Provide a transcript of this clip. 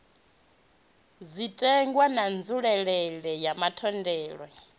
zwitenwa na nzulelele ya matholetwe